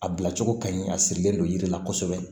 A bila cogo kaɲi a sirilen don yiri la kosɛbɛ